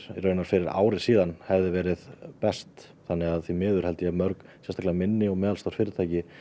fyrir ári síðan hefði verið best þannig að því miður held ég að mörg sérstaklega minni og meðalstór fyrirtæki